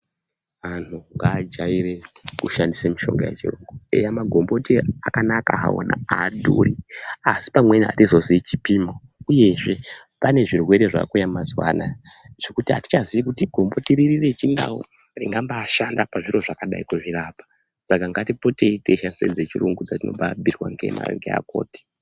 Anthu ngadyaire kushandisa mushonga wechirungu eya magomboti akanaka hawo adhuri asi hatizoziyi chipimo uyezve pane zvirwere zvakuya mazuva anaya zvekuti atichazii kuti gomboti ripi rechindau ringabaishanda pachirwere chakadai saka ngatishandisei dzechirungu dzatinobhiirwa ndiana mukoti.